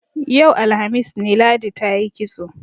Yau, alhamis ne, Ladi ta yi kitso.